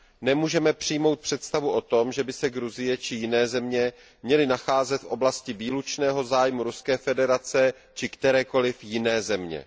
Nemůžeme přijmout představu o tom, že by se Gruzie či jiné země měly nacházet v oblasti výlučného zájmu Ruské federace či kterékoli jiné země.